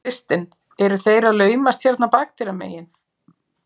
Kristinn: Eru þeir að laumast hérna bakdyramegin?